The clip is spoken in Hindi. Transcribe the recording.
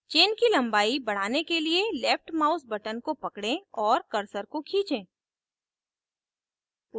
chain की लम्बाई बढ़ाने के लिए left mouse button को पकड़ें और cursor को खींचें